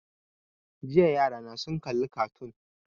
Jiya yarana sun kalli kartoon